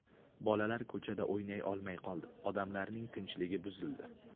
Bolalar ko‘chada o‘ynay olmay qoldi, odamlarning tinchligi buzildi.